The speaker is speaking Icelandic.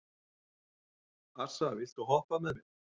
Assa, viltu hoppa með mér?